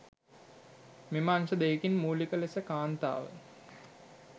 මෙම අංශ දෙකින් මූලික ලෙස කාන්තාව